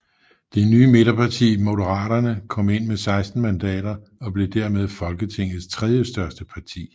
Det nye midterparti Moderaterne kom ind med 16 mandater og blev dermed Folketingets tredjestørste parti